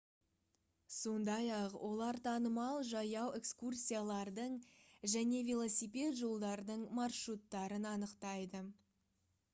сондай-ақ олар танымал жаяу экскурсиялардың және велосипед жолдарының маршруттарын анықтайды